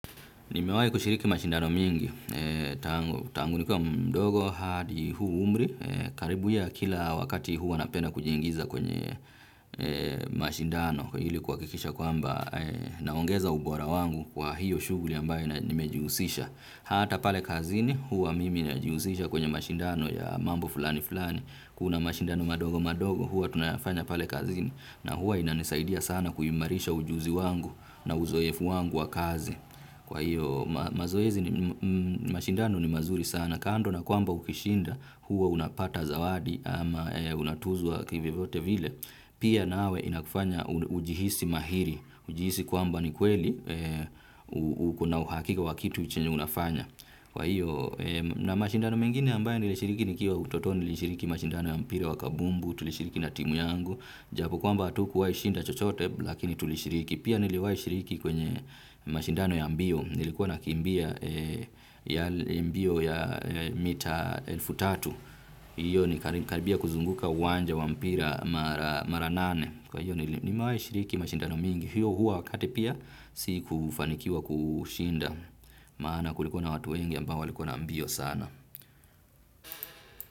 Nimewahi kushiriki mashindano mingi. Tangu nikiwa mdogo hadi huu umri. Karibu ya kila wakati huwa napenda kujiingiza kwenye mashindano. Ili kuhakikisha kwamba naongeza ubora wangu wa hiyo shughuli ambayo nimejihusisha. Hata pale kazini huwa mimi najihusisha kwenye mashindano ya mambo fulani fulani. Kuna mashindano madogo madogo huwa tunayafanya pale kazini na huwa inanisaidia sana kuimarisha ujuzi wangu na uzoefu wangu wa kazi. Kwa hiyo mazoezi mashindano ni mazuri sana kando na kwamba ukishinda huwa unapata zawadi ama unatuzwa kivyovyote vile, pia nawe inakufanya ujihisi mahiri, ujihisi kwamba ni kweli uko na uhakika wa kitu chenye unafanya. Kwa hiyo, na mashindano mengine ambayo nilishiriki nikiwa utotoni nilishiriki mashindano ya mpira wa kabumbu, tulishiriki na timu yangu. Japo kwamba hatukuwahi shinda chochote, lakini tulishiriki. Pia niliwahi shiriki kwenye mashindano ya mbio. Nilikuwa nakimbia ya mbio ya mita elfu tatu. Hiyo ni karibia kuzunguka uwanja wa mpira mara nane. Kwa hiyo nimewahi shiriki mashindano mingi. Hiyo huo wakati pia sikufanikiwa kushinda. Maana kulikuwa na watu wengi ambao walikuwa na mbio sana.